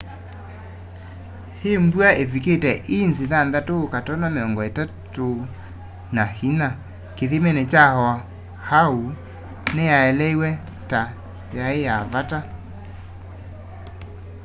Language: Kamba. i mbua ivikite inzi 6.34 kithimini kya oahu niyaeleiw'e ta yai ya vata